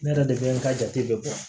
Ne yɛrɛ de bɛ n ka jate bɛɛ bɔ